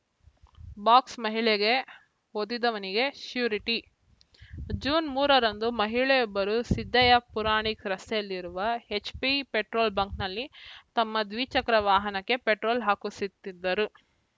ಬಾಕ್ಸ್‌ಮಹಿಳೆಗೆ ಒದ್ದಿದ್ದವನಿಗೆ surety June ಮೂರರಂದು ಮಹಿಳೆಯೊಬ್ಬರು ಸಿದ್ದಯ್ಯ ಪುರಾಣಿಕ್‌ ರಸ್ತೆಯಲ್ಲಿರುವ ಎಚ್‌ಪಿ ಪೆಟ್ರೋಲ್‌ ಬಂಕ್‌ನಲ್ಲಿ ತಮ್ಮ ದ್ವಿಚಕ್ರ ವಾಹನಕ್ಕೆ ಪೆಟ್ರೋಲ್‌ ಹಾಕಿಸುತ್ತಿದ್ದರು